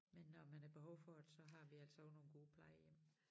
Men når man har behov for det så har vi altså også nogle gode plejehjem